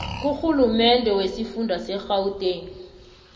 kurhulumende wesifunda segauteng